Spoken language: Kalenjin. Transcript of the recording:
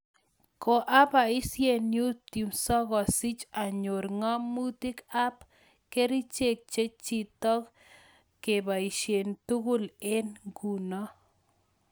Koapaisie YouTube sokosich anyor ng'amotik ap kericheek chechitok kepaisie tugul eng inguno